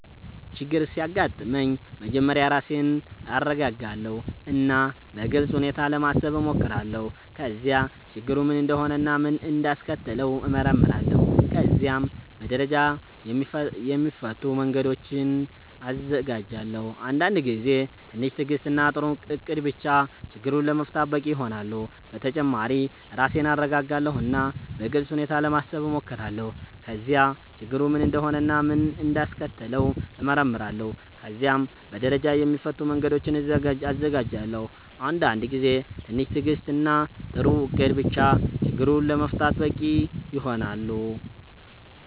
ችግር ሲያጋጥመኝ መጀመሪያ ራሴን እረጋጋለሁ እና በግልጽ ሁኔታ ለማሰብ እሞክራለሁ። ከዚያ ችግሩ ምን እንደሆነ እና ምን እንዳስከተለው እመረምራለሁ። ከዚያም በደረጃ የሚፈቱ መንገዶችን እዘጋጃለሁ። አንዳንድ ጊዜ ትንሽ ትዕግስት እና ጥሩ እቅድ ብቻ ችግሩን ለመፍታት በቂ ይሆናል። በተጨማሪ ራሴን እረጋጋለሁ እና በግልጽ ሁኔታ ለማሰብ እሞክራለሁ። ከዚያ ችግሩ ምን እንደሆነ እና ምን እንዳስከተለው እመረምራለሁ። ከዚያም በደረጃ የሚፈቱ መንገዶችን እዘጋጃለሁ። አንዳንድ ጊዜ ትንሽ ትዕግስት እና ጥሩ እቅድ ብቻ ችግሩን ለመፍታት በቂ ይሆናል።